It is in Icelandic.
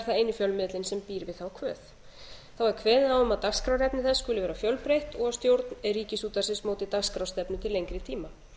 eini fjölmiðillinn sem býr við þá kvöð þá e kveðið á um að dagskrárefni þess skuli vera fjölbreytt og stjórn ríkisútvarpsins móti dagskrárstefnu til lengri tíma